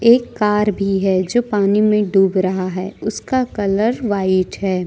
एक कार भी है जो पानी में डूब रहा है उसका कलर व्हाइट है।